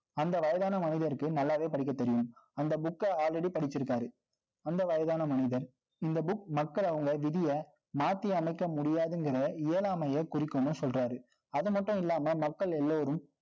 அந்த வயதான மனிதருக்கு, நல்லாவே படிக்கத் தெரியும். அந்த book அ already படிச்சிருக்காரு அந்த வயதான மனிதர் இந்த book மக்கள் அவங்க விதிய, மாத்தி அமைக்க முடியாதுங்கிற, இயலாமையைக் குறிக்கும்ன்னு சொல்றாரு. அது மட்டும் இல்லாம, மக்கள் எல்லோரும்